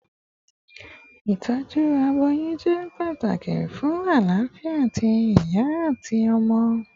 Itọju aboyun jẹ pataki fun alafia ti iya ati ọmọ